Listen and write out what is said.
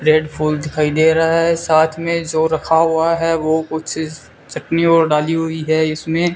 Bread फूल दिखाई दे रहा है साथ में जो रखा हुआ है वो कुछ चटनी और डाली हुई है इसमें।